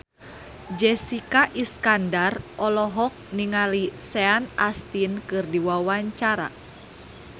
Jessica Iskandar olohok ningali Sean Astin keur diwawancara